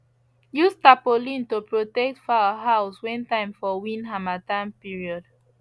use tarpaulin to protect fowl house when time for wind harmattan period